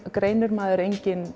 greinir maður engin